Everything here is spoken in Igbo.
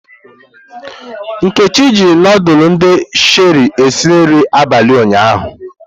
Nkechi jiri ndulu ndi Sherie esi nri abalị ụnyahụ.